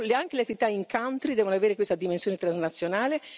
Anche le attività in country devono avere questa dimensione transnazionale.